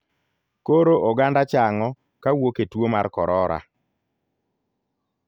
Koro oganda chang'o kawuok e tuo mar korora.